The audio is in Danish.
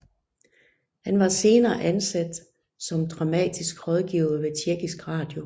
Han var senere ansat som dramatisk rådgiver på Tjekkisk Radio